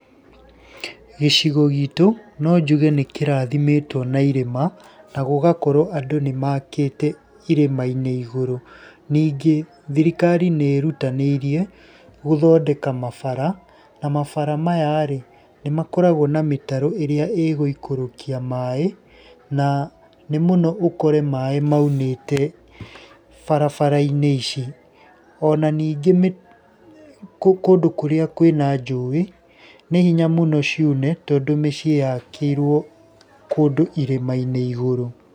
Gĩcigo gitũ no njuge nĩkĩrathimĩtwo na irĩma, na gũgakorwo andũ nĩmakĩte irĩma-inĩ iguru. Ningĩ thirikari nĩ ĩrutanĩirie gũthondeka mabara, na mabara maya nĩ makoragwo na mĩtaro ĩrĩa ĩgũikũrũkia maaĩ, na nĩ mũno ũkore maaĩ maunĩte barabara-inĩ ici. Ona ningĩ rĩ, kũndũ kurĩa kwĩna njũĩ nĩ hinya mũno ciune tondũ mĩciĩ yakĩirwo kũndũ irĩma-inĩ igũrũ.